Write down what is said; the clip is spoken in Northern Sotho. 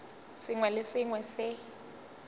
sengwe le se sengwe se